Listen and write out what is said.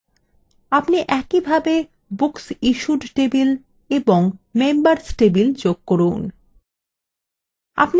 আপনি একইভাবে booksissued table এবং members table যোগ করুন